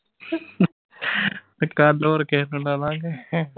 ਤੇ ਕੱਲ ਹੋਰ ਕਿਹੇ ਨੂੰ ਲਾ ਲਾ ਗੇ।